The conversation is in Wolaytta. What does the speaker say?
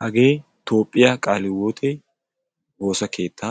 hage toophiya qaali hiwote woossa keetta